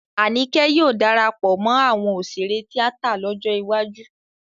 Àníkẹ́ yóò darapọ̀ mọ́ àwọn òṣèré tíátà lọ́jọ́ iwájú